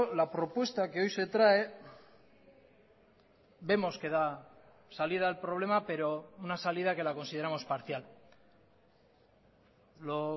la propuesta que hoy se trae vemos que da salida al problema pero una salida que la consideramos parcial lo